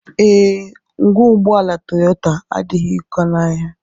Ee, ngwa ụgbọala Toyota adịghị ụkọ n'ahịa